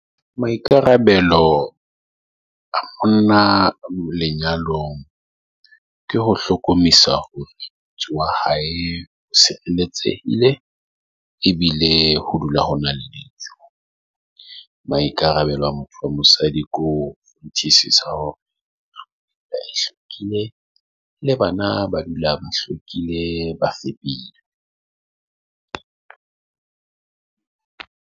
Maikarabelo a bona lenyalong ke ho hlokomedisa hore wa hae o ile ebile ho dula hona le maikarabelo a motho wa mosadi. Ko nthusisa hore le bana ba dula ba hlokile bafepedi